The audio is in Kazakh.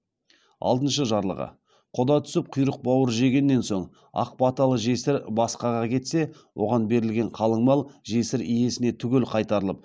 алтыншы жарлығы құда түсіп құйрық бауыр жегеннен соң ақ баталы жесір басқаға кетсе оған берілген қалың мал жесір иесіне түгел қайтарылып